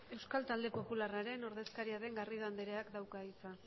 euskal talde popularraren ordezkaria den garrido andereak dauka hitza